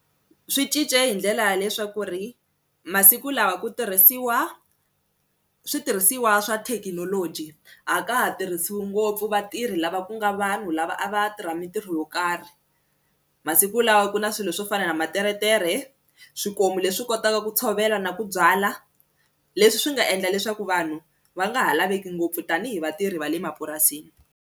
Swi cince hi ndlela ya leswaku ri masiku lawa ku tirhisiwa switirhisiwa swa thekinoloji a ka ha tirhisiwi ngopfu vatirhi lava ku nga vanhu lava a va tirha mintirho yo karhi, masiku lawa ku na swilo swo fana na materetere swikomu leswi kotaka ku tshovela na ku byala leswi swi nga endla leswaku vanhu va nga ha laveki ngopfu tanihi vatirhi va le mapurasini.